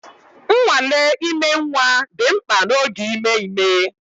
Nnwale ime nwa dị mkpa n'oge ime ime